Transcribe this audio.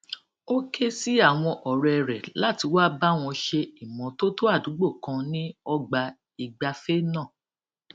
ó ké sí àwọn òré rẹ láti wá bá wọn ṣe ìmótótó àdúgbò kan ní ọgbà ìgbafé náà